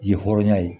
Yen ye hɔrɔnya ye